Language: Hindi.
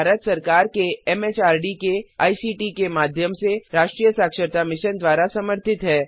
यह भारत सरकार के एमएचआरडी के आईसीटी के माध्यम से राष्ट्रीय साक्षरता मिशन द्वारा समर्थित है